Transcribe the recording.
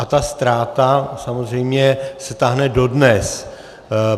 A ta ztráta samozřejmě se táhne dodnes.